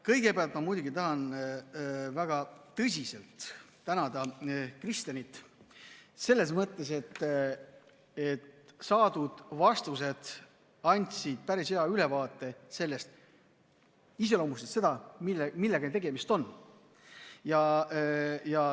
Kõigepealt ma muidugi tahan väga tõsiselt tänada Kristenit selles mõttes, et saadud vastused andsid päris hea ülevaate ja iseloomustasid seda, millega tegemist on.